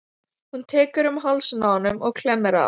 Hún tekur um hálsinn á honum og klemmir að.